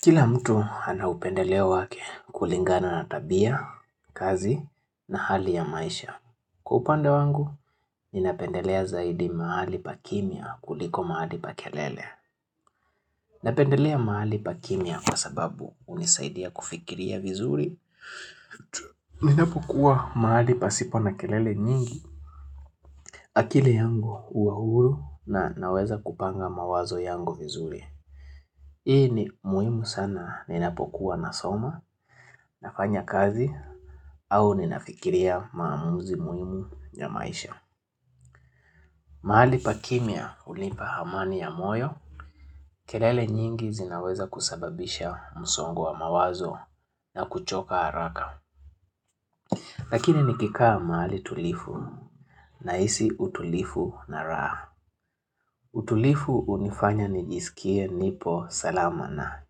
Kila mtu ana upendeleo wake kulingana na tabiya, kazi na hali ya maisha. Kwa upande wangu, ninapendelea zaidi mahali pa kimya kuliko mahali pa kelele. Napendelea mahali pa kimya kwa sababu unisaidia kufikiria vizuri. Ninapokuwa mahali pasipo na kelele nyingi. Akili yangu hua huru na naweza kupanga mawazo yangu vizuri. Hii ni muhimu sana ninapokuwa na soma, nafanya kazi, au ninafikiria maamuzi muhimu ya maisha. Mahali pa kimya hunipa amani ya moyo, kelele nyingi zinaweza kusababisha msongo wa mawazo na kuchoka haraka. Lakini nikikaa mahali tulivu nahisi utulivu na raha. Utulivu hunifanya nijisikie nipo salama na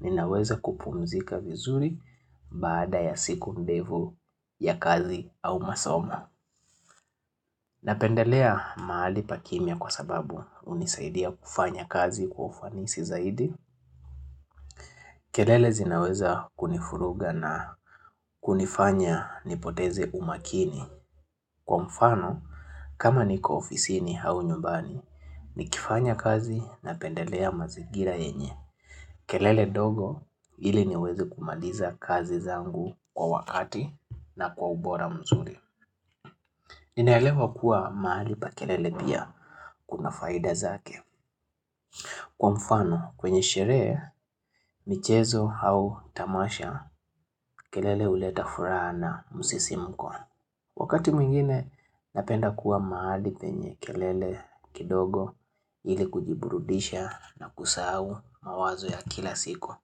ninaweza kupumzika vizuri baada ya siku mdefu ya kazi au masomo. Napendelea mahali pa kimya kwa sababu unisaidia kufanya kazi kufanisi zaidi. Kelele zinaweza kunivuruga na kunifanya nipoteze umakini. Kwa mfano, kama niko ofisini au nyumbani, nikifanya kazi na pendelea mazigira yenye. Kelele ndogo ili niweze kumaliza kazi zangu kwa wakati na kwa ubora mzuri ninaelewa kuwa mahali pa kelele pia kuna faida zake Kwa mfano kwenye sheree, michezo au tamasha kelele uleta furaha na musisimko Wakati mwingine napenda kuwa mahali penye kelele kidogo ili kujiburudisha na kusahau mawazo ya kila siku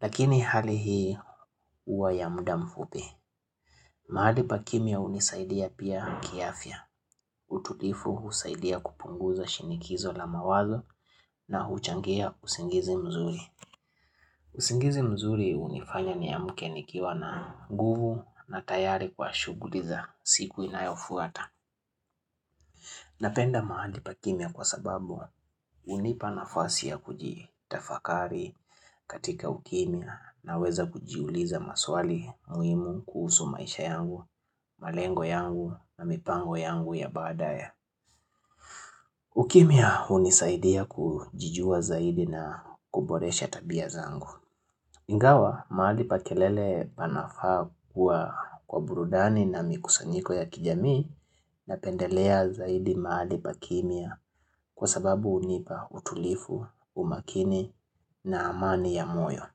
Lakini hali hii huwa ya muda mfupi. Mahali pa kimya hunisaidia pia kiafya. Utulivu husaidia kupunguza shinikizo la mawazo na huchangia usingizi mzuri. Usingizi mzuri unifanya niamke nikiwa na nguvu na tayari kwa shuguliza siku inayofuata. Napenda mahali pa kimya kwa sababu hunipa nafasi ya kujitafakari katika ukimya na weza kujiuliza maswali, muhimu, kusu maisha yangu, malengo yangu na mipango yangu ya baadaye. Ukimya hunisaidia kujijua zaidi na kuboresha tabya zangu. Ingawa mahali pa kelele panafaa kuwa kwa burudani na mikusanyiko ya kijamii na pendelea zaidi mahali pa kimya kwa sababu hunipa utulivu, umakini na amani ya moyo.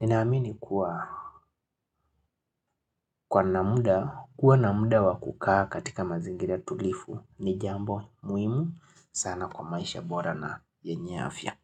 Ninaamini kuwa na muda wa ukaa katika mazingira tulivu ni jambo muhimu sana kwa maisha bora na yenye afya.